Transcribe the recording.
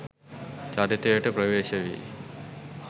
චරිතයට ප්‍රවේශ වී